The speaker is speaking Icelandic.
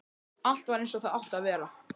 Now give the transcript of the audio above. Allt var eins og það átti að vera.